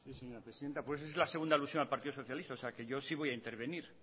sí señora presidenta es la segunda alusión la partido socialista así que yo sí voy a intervenir